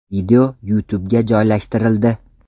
Video YouTube’ga joylashtirildi.